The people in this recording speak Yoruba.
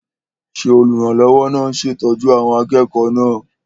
Ṣé olùrànlọ́wọ́ náà ń ṣètọ́jú àwọn akẹ́kọ̀ọ́ náà?